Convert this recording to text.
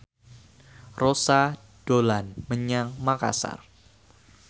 Rossa dolan menyang Makasar